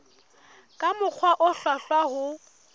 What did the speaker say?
ka mokgwa o hlwahlwa ho